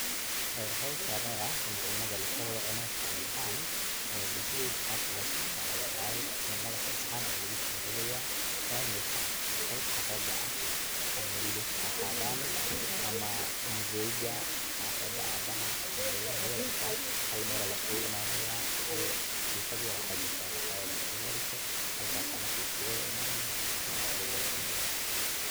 Howshan oo ah in cunada laislacuno mida familka ahan een bulshadeyda qabka losameyo aya wexey tahay cunada hal saxan aya lugusorida familka qeybta raga ah ama wilasha haahadan ama mzeyga hafada abaha ama ilmaha yaryarka ah hal meel aya laiskuimanaya katifad yar oo waxa jirta marka iyada ah dhulka ladhigto, halkas aya marka laiskuguimanaya halkas aya luguwada cunaya.